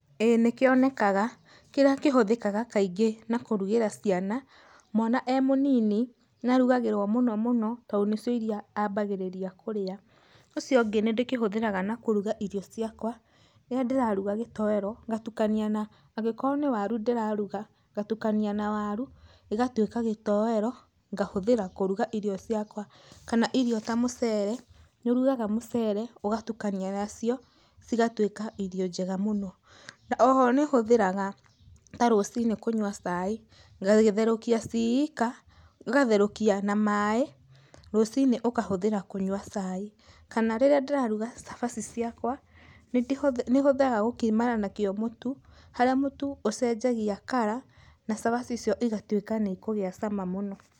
Ĩĩ nĩ kionekaga, kĩrĩa kĩhũthĩkaga kaingĩ na kũrugĩra ciana. Mwana e mũnini nĩarugagĩrwo mũno mũno to nĩcio irio iria ambagĩrĩria kũrĩa. Ũcio ũngĩ nĩ ndĩkĩhũthagĩra na kũruga irio ciakwa, rĩrĩa ndĩraruga gĩtowero ngatukania na angĩkorwo nĩ waru ndĩraruga ngatukania na waru gĩgatuĩka gĩtowero ngahũthĩra kũruga irio ciakwa. Kana irio ta mũcere, nĩ ũrugaga mũcere ũgatukania nacio cigatuĩka irio njega mũno. Oho nĩ hũthĩraga ta rũcinĩ kũnyua cai, ngagĩtherũkia ci ika, ũgatherũkia na maĩ rũcinĩ ũkahũthĩra kũnyua cai. Kana rĩrĩa ndĩraruga cabaci ciakwa nĩhũthĩraga gũkima nakĩo mũtu harĩa mũtu ũcenjagia color na cabaci icio ĩgatuĩka nĩ ĩkũgĩa cama mũno.